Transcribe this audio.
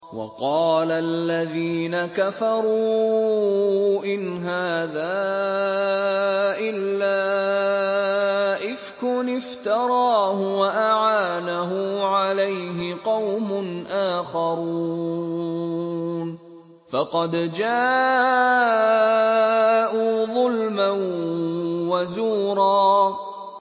وَقَالَ الَّذِينَ كَفَرُوا إِنْ هَٰذَا إِلَّا إِفْكٌ افْتَرَاهُ وَأَعَانَهُ عَلَيْهِ قَوْمٌ آخَرُونَ ۖ فَقَدْ جَاءُوا ظُلْمًا وَزُورًا